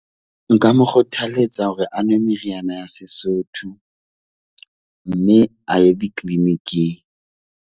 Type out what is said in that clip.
Nka mo kgothalletsa hore a nwe meriana ya Sesotho mme a ye di-clinic-ing.